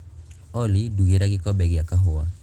olly ndugīra gikombe gīa kahūwa